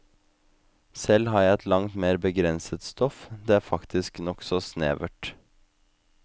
Selv har jeg et langt mer begrenset stoff, det er faktisk nokså snevert.